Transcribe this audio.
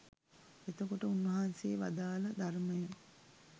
එතකොට උන්වහන්සේ වදාළ ධර්මය